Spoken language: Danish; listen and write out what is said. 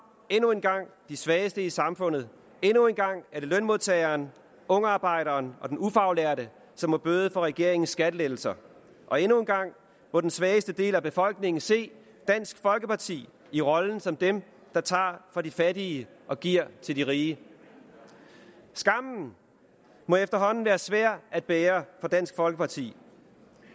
endnu en gang de svageste i samfundet endnu en gang er det lønmodtageren ungarbejderen og den ufaglærte som må bøde for regeringens skattelettelser og endnu en gang må den svageste del af befolkningen se dansk folkeparti i rollen som dem der tager fra de fattige og giver til de rige skammen må efterhånden være svær at bære for dansk folkeparti